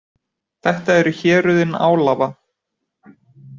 Þetta eru héruðin Álava.